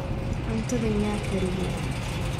cuntadhan yaa kariye